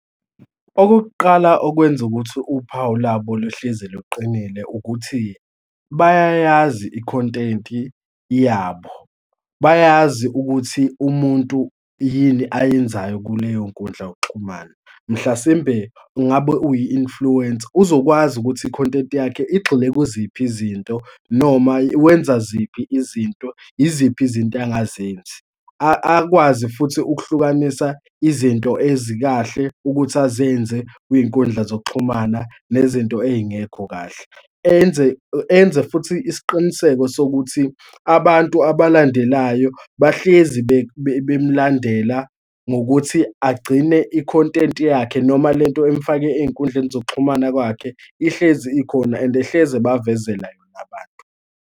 Okokuqala okwenza ukuthi uphawu labo luhlezi luqinile ukuthi bayayazi ikhontenti yabo. Bayazi ukuthi umuntu yini ayenzayo kuleyonkundla yokuxhumana. Mhlasimbe ngabe uyi-influencer, uzokwazi ukuthi ikhonenti yakhe igxile kuziphi izinto, noma wenza ziphi izinto, yiziphi izinto angazenzi, akwazi futhi ukuhlukanisa izinto ezikahle ukuthi azenze kwinkundla zokuxhumana nezinto ey'ngekho kahle, enze enze futhi isiqiniseko sokuthi abantu abalandelayo bahlezi bemlandela ngokuthi agcine ikhontenti yakhe noma lento emfake ey'nkundleni zokuxhumana kwakhe, ihlezi ikhona and hlezi ebavezela yona abantu.